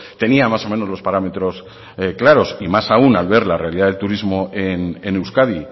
tenía más o menos los parámetros claros y más aún al ver la realidad del turismo en euskadi